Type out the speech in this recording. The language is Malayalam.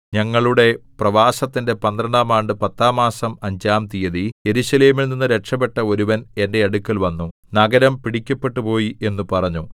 ഞങ്ങളുടെ പ്രവാസത്തിന്റെ പന്ത്രണ്ടാം ആണ്ട് പത്താം മാസം അഞ്ചാം തീയതി യെരൂശലേമിൽ നിന്നു രക്ഷപെട്ട ഒരുവൻ എന്റെ അടുക്കൽ വന്നു നഗരം പിടിക്കപ്പെട്ടുപോയി എന്നു പറഞ്ഞു